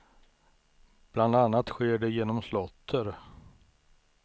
Bland annat sker det genom slåtter.